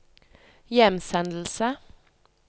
hjemsendelse